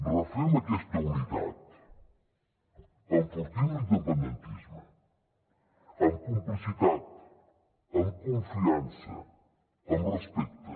refem aquesta unitat enfortim l’independentisme amb complicitat amb confiança amb respecte